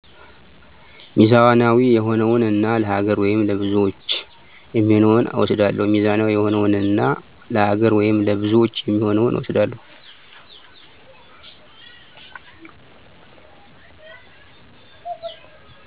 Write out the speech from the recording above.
ሚዛናዊ የሆነውን እና ለሃገር ወይም ለብዙዎች የሚሆነውን እወስዳለሁ።